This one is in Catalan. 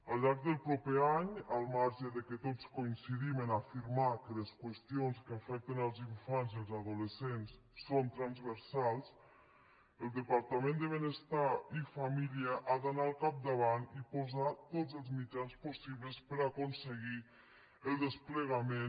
al llarg del proper any al marge que tots coincidim a afirmar que les qüestions que afecten els infants i els adolescents són transversals el departament de benestar i família ha d’anar al capdavant i posar tots els mitjans possibles per aconseguir el desplegament